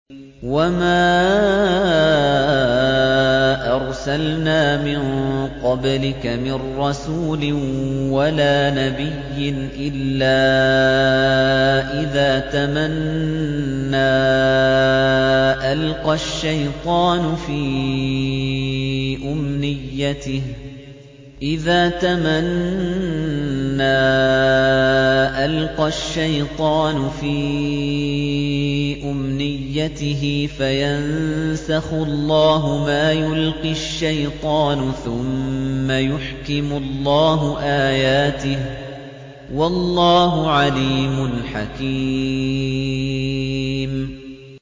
وَمَا أَرْسَلْنَا مِن قَبْلِكَ مِن رَّسُولٍ وَلَا نَبِيٍّ إِلَّا إِذَا تَمَنَّىٰ أَلْقَى الشَّيْطَانُ فِي أُمْنِيَّتِهِ فَيَنسَخُ اللَّهُ مَا يُلْقِي الشَّيْطَانُ ثُمَّ يُحْكِمُ اللَّهُ آيَاتِهِ ۗ وَاللَّهُ عَلِيمٌ حَكِيمٌ